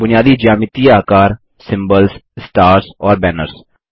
बुनियादी ज्यामितीय आकार सिम्बल्स स्टार्स और बैनर्स